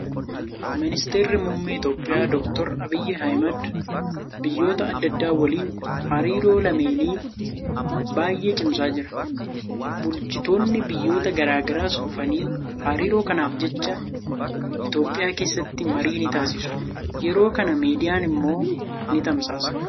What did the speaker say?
Ministeerri muummee Itoophiyaa doktar Abiyyi Ahmad biyyoota adda addaa waliin hariiroo lameenii baay'ee cimsaa jira. Bulchitoonni biyyoota garaagaraas dhufanii hariiroo kanaaf jecha Itoophiyaa keessatti marii ni taasisu. Yeroo kana miidiyaan immoo ni tamsaasa.